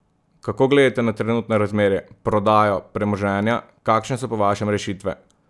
Kako gledate na trenutne razmere, prodajo premoženja, kakšne so po vašem rešitve?